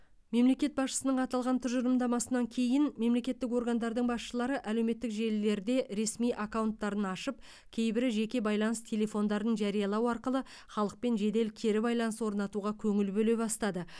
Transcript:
мемлекет басшысының аталған тұжырымдамасынан кейін мемлекеттік органдардың басшылары әлеуметтік желілерде ресми аккаунттарын ашып кейбірі жеке байланыс телефондарын жариялау арқылы халықпен жедел кері байланыс орнатуға көңіл бөле бастады